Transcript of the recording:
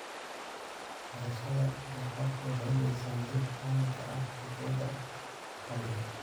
Beerashada doofaarku waxay bixisaa hilib caan ka ah suuqyada maxalliga ah.